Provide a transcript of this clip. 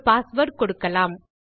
ஒரு பாஸ்வேர்ட் கொடுக்கலாம்